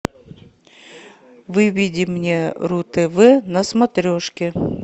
выведи мне ру тв на смотрешке